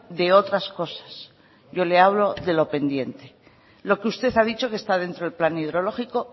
de otras cosas yo le hablo de lo pendiente lo que usted ha dicho que está dentro del plan hidrológico